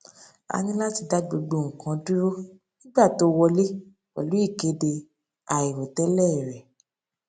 a ní láti dá gbogbo nǹkan dúró nígbà tó wọlé pèlú ìkéde àìròtélè rè